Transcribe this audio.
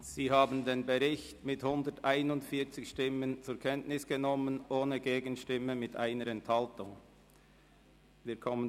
Sie haben den Bericht mit 141 Stimmen ohne Gegenstimme und 1 Enthaltung zur Kenntnis genommen.